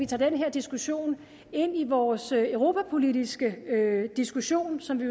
tager den her diskussion ind i vores europapolitiske diskussion som vi